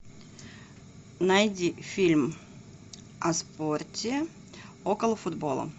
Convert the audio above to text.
найди фильм о спорте около футбола